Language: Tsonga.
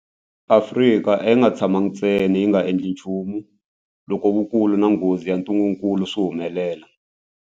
Afrika a yi nga tshamangi ntsena yi nga endli nchumu loko vukulu na nghozi ya ntungukulu swi humelela.